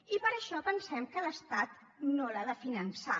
i per això pensem que l’estat no l’ha de finançar